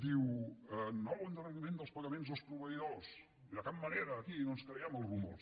diu nou endarreriment dels pagaments als proveïdors i de cap manera aquí no ens creiem els rumors